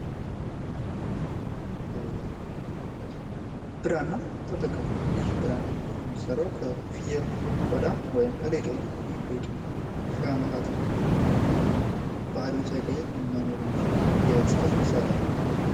ብራና ይህ ብራና የሚሰራው ከፍየል ቆዳ ወይም ከሌጦ ነው። ይህ ሌጦ ብዙ ሺ አመታትን ባህሪውን ሳይቀይር መኖር የሚችል ነው። የፅህፈት መሣሪያ ነው።